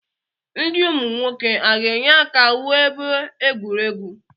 Ndị ụmụ nwoke a ga-enye aka wuo ebe egwuregwu?